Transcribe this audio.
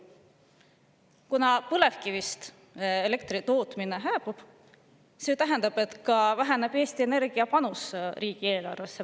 Kuna põlevkivist elektri tootmine hääbub, siis väheneb märkimisväärselt Eesti Energia panus riigieelarvesse.